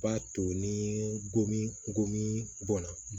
b'a to ni gomi gomi bɔnna